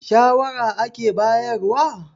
shawara kake bayarwa?